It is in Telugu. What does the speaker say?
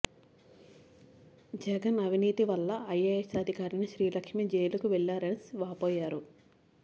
జగన్ అవినీతి వల్ల ఐఏఎస్ అధికారిణి శ్రీలక్ష్మి జైలుకు వెళ్లారని వాపోయారు